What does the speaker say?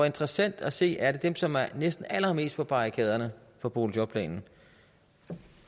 interessant at se at dem som er næsten allermest på barrikaderne for boligjobplanen